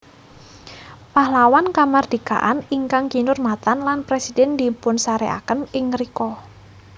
Pahlawan Kamardikaan ingkang kinurmatan lan presiden dipunsareaken ing ngrika